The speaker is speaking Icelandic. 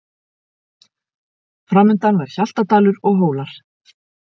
Framundan var Hjaltadalur og Hólar.